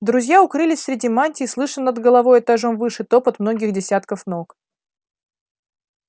друзья укрылись среди мантий слыша над головой этажом выше топот многих десятков ног